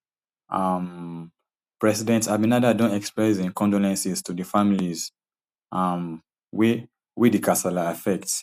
um president abinader don express im condolences to di families um wey wey di kasala affect